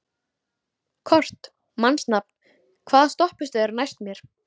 Kort (mannsnafn), hvaða stoppistöð er næst mér?